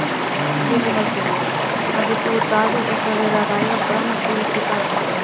Lillý Valgerður: Hafið þú og Davíð eitthvað verið að ræða saman síðustu daga?